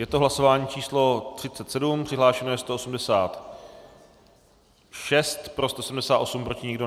Je to hlasování číslo 37, přihlášeno je 186, pro 178, proti nikdo.